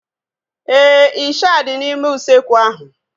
Éè, ịsha dị n'ime usekwu ahu